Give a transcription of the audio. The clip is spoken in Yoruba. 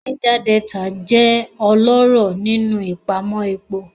Niger Delta jẹ́ ọlọ́rọ̀ nínú ìpamọ́ epo.